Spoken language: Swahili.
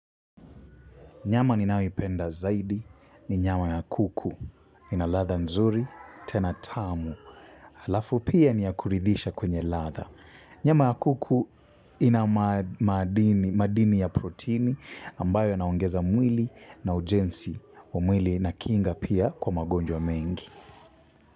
Nyama ninayoipenda zaidi ni nyama ya kuku. Ina ladha nzuri tena tamu. Halafu pia ni ya kuridhisha kwenye ladha. Nyama ya kuku ina madini madini ya protini ambayo yanaongeza mwili na ujenzi wa mwili na kinga pia kwa magonjwa mengi.